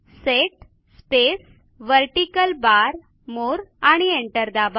set space vertical bar मोरे आणि enter दाबा